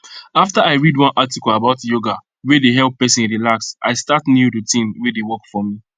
after i read one article about yoga wey dey help person relax i start new routine wey dey work for me